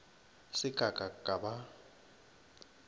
se ka ka ka ba